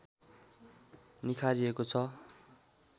निखारिएको छ